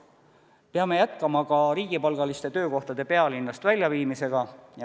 Peame jätkama ka riigipalgaliste töökohtade pealinnast väljaviimist.